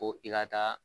Ko i ka taa